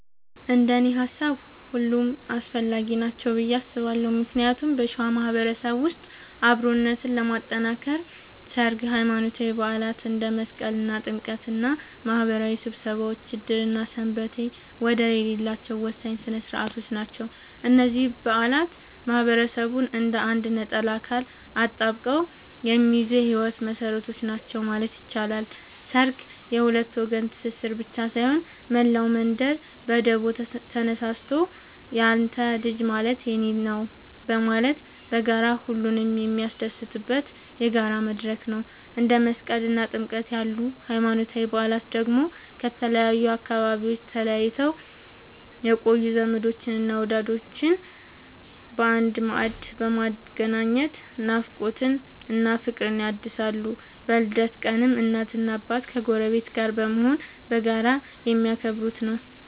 እንደኔ ሃሳብ ሁሉም አስፈላጊ ናቸው ብዬ አስባለሁ ምክንያቱም በሸዋ ማህበረሰብ ውስጥ አብሮነትን ለማጥከር ሠርግ፣ ሃይማኖታዊ በዓላት እንደ መስቀልና ጥምቀት እና ማህበራዊ ስብሰባዎች ዕድርና ሰንበቴ ወደር የሌላቸው ወሳኝ ሥነ ሥርዓቶች ናቸው። እነዚህ በዓላት ማህበረሰቡን እንደ አንድ ነጠላ አካል አጣብቀው የሚይዙ የህይወት መሰረቶች ናቸው ማለት ይቻላል። ሠርግ የሁለት ወገን ትስስር ብቻ ሳይሆን፣ መላው መንደር በደቦ ተነሳስቶ ያንተ ልጅ ማለት የኔ ነዉ በማለት በጋራ ሁሉንም የሚያስደስትበት የጋራ መድረክ ነው። እንደ መስቀልና ጥምቀት ያሉ ሃይማኖታዊ በዓላት ደግሞ ከተለያዩ አካባቢዎች ተለይተው የቆዩ ዘመዶችንና ወዳጆችን በአንድ ማዕድ በማገናኘት ናፍቆትን እና ፍቅርን ያድሳሉ። በልደት ቀንም እናትና አባት ከጎረቤት ጋር በመሆን በጋራ የሚያከብሩት ነዉ።